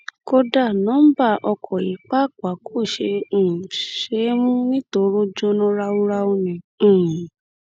kódà nọńbà ọkọ̀ yìí pàápàá kò um ṣe é mú nítorí ó jóná ráúráú ni um